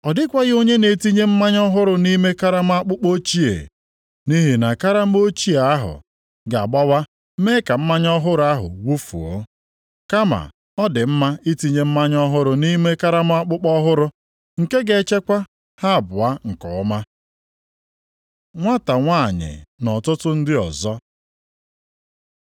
Ọ dịkwaghị onye ga-etinye mmanya ọhụrụ nʼime karama akpụkpọ ochie, nʼihi na karama ochie ahụ ga-agbawa mee ka mmanya ọhụrụ ahụ wufuo. Kama ọ dị mma itinye mmanya ọhụrụ nʼime karama akpụkpọ ọhụrụ, nke ga-echekwa ha abụọ nke ọma.” Nwata nwanyị na ọtụtụ ndị ọzọ